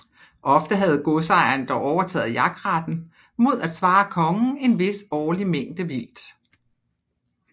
Ofte havde godsejeren dog overtaget jagtretten mod at svare kongen en vis årlig mængde vildt